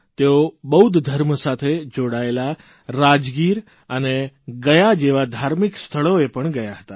તેઓ બૌદ્ધ ધર્મ સાથે જોડાયેલા રાજગીર અને ગયા જેવા ધાર્મિક સ્થળોએ પણ ગયા હતા